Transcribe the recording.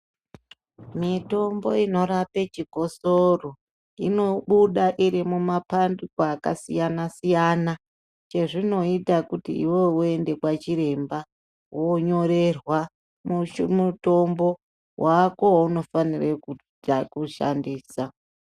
Mitombo inorape chikosoro inobuda irimumapandiko akasiyana siyana chezvinoita kuti iwewe woende kwachiremba wonyorerwa mutombo wako waunofanira kushandisa.